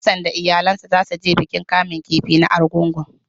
Hassan da iyalansa zasu je bikin kamun kifi na Argungu.